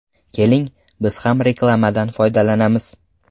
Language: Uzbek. Keling, biz ham reklamadan foydalanamiz.